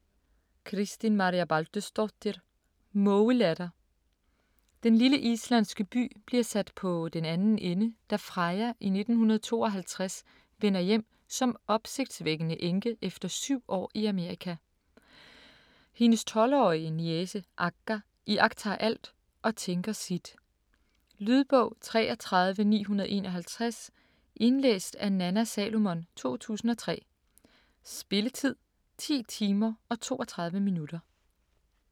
Kristín Marja Baldursdóttir: Mågelatter Den lille islandske by bliver sat på den anden ende, da Freyja i 1952 vender hjem som opsigtsvækkende enke efter syv år i Amerika. Hendes 12-årige niece Agga iagttager alt og tænker sit. Lydbog 33951 Indlæst af Nanna Salomon, 2003. Spilletid: 10 timer, 32 minutter.